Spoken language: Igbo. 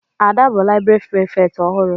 Ada bụ laịbrị Prịfèkt ọhụrụ.